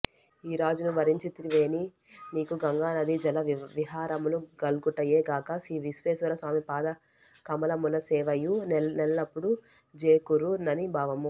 ఈరాజును వరించితివేని నీకు గంగానదీజలవిహారములు గల్గుటయె గాక శ్రీవిశ్వేశ్వరస్వామి పాద కమలములసేవయు నెల్లపుడుఁ జేకూఱు నని భావము